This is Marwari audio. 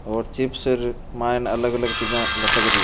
और चिप्सर मायने अलग अलग चीजा लटक रही है।